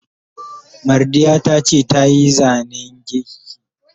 Mardiya tace ta yi Zane's giki.